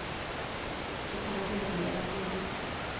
Det kommer til å bli eventyrlig.